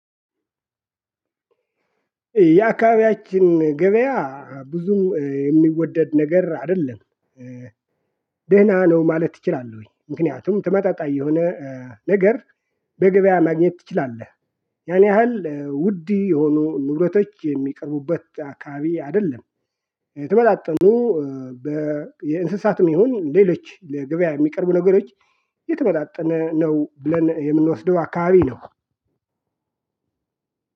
የአከባቢያችን ገበያ ብዙም የሚወደድ ነገር አይደለም ደህና ነው ማለት እችላለሁኝ። ምክንያቱም ተመጣጣኝ የሆነ ነገር በገበያ ማግኘት ትችላለህ። ያን ያህል ውድ የሆኑ ንብረቶች የሚቀርቡበት አካባቢ አይደለም። የመጣጠኑ የእንስሳትም ይሁን ሌሎች ለገበያ የሚቀርቡ ነገሮች የተመጣጠነ ነው ብለን የምንወስደው አካባቢ ነው።